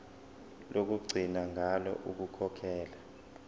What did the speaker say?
lokugcina ngalo ukukhokhela